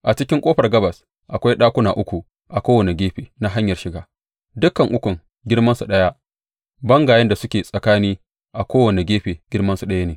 A cikin ƙofar gabas akwai ɗakuna uku a kowane gefe na hanyar shiga; dukan ukun girmansu ɗaya, bangayen da suke tsakani a kowane gefe girmansu ɗaya ne.